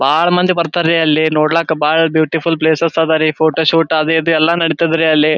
ಬಹಳ ಮಂದಿ ಬರ್ತಾರೆ ಅಲ್ಲಿ ನೋಡ್ಲಕಾ ಬಹಳ ಬ್ಯೂಟಿಫುಲ್ ಪ್ಲೇಸಸ್ ಅದ ರೀ ಫೋಟೋಶೂಟ್ ಅದು ಇದು ಎಲ್ಲ ನೆಡಿತದೆ ರೀ ಅಲ್ಲಿ.